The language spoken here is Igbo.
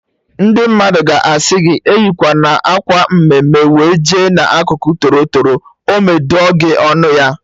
Ndị mmadụ ga-asị gị eyikwana akwa mme mme wee jee n'akụkụ toro toro ọme dụọ gị ọnụ ya